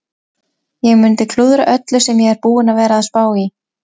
Ég mundi klúðra öllu sem ég er búinn að vera að spá í.